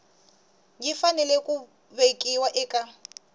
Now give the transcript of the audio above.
yi fanele ku vekiwa eka